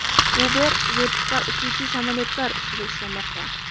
Uber vertikal uchuvchi samolyotlar ustida ishlamoqda.